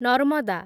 Narmada